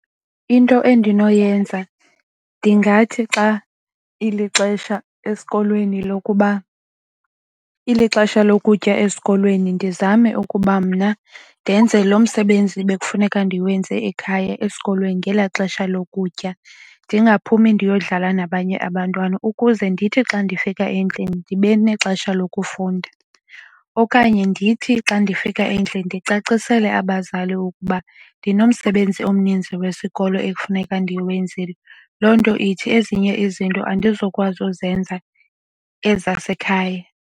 Into endinoyenza ndingathi xa ilixesha esikolweni lokuba ilixesha lokutya esikolweni ndizame ukuba mna ndenze lo msebenzi bekufuneka ndiwenze ekhaya esikolweni ngelaa xesha lokutya. Ndingaphumi ndiyodlala nabanye abantwana ukuze ndithi xa ndifika endlini ndibe nexesha lokufunda. Okanye ndithi xa ndifika endlini ndicacisele abazali ukuba ndinomsebenzi omninzi wesikolo ekufuneka ndiwenzile, loo nto ithi ezinye izinto andizukwazi uzenza ezasekhaya.